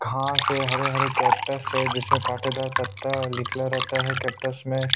खा से हरे हरे कैक्टस है जिसमें काटेदार पता निकला रहता है केक्टस में--